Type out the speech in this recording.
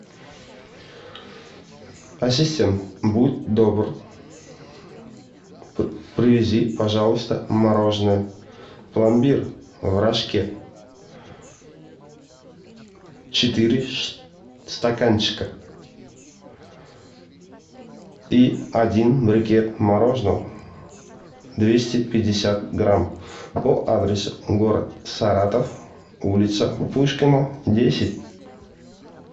ассистент будь добр привези пожалуйста мороженое пломбир в рожке четыре стаканчика и один брикет мороженого двести пятьдесят грамм по адресу город саратов улица пушкина десять